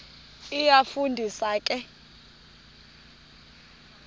iyafu ndisa ke